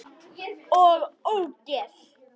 OG ÓGEÐ!